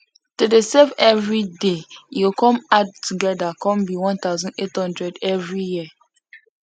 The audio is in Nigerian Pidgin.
to dey save 5 every day e go come add together come be 1800 every year